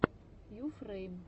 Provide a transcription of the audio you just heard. юфрэйм